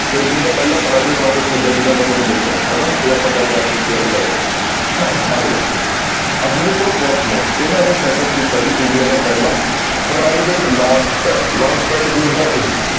Country ਦਾ ਪਹਿਲਾ private rocket ਛੱਡਿਆ ਜਿਦਾਂ ਮੈਂ ਤੁਹਾਨੂੰ ਦੱਸਿਆ ਹਨਾ ਇਹ ਆਪਾਂ ਗੱਲ ਚੁੱਕੇ ਹਾਂ ਇਹਦੇ ਬਾਰੇ ਅਗਲਾ ਅਗਨੀਕੁਲ ਕੋਸਮੋਸ ਇਹਨਾਂ ਨੇ setup ਕੀਤਾ ਜੀ india ਦਾ ਪਹਿਲਾ private launch pad launch pad ਕੀ ਹੁੰਦਾ ਇਹ